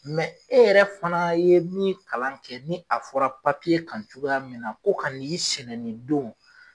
e yɛrɛ fana ye min kalan kɛ ni a fɔra kan cogoya min na ko ka na nin sɛnɛ nin don